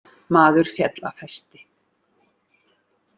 Maður féll af hesti